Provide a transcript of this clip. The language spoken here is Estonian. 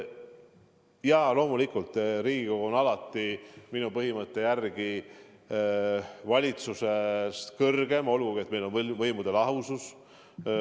Jaa, loomulikult Riigikogu on minu põhimõtte järgi valitsusest kõrgem, olgugi et meil on võimude lahusus.